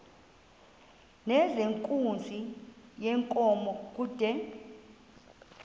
nezenkunzi yenkomo kude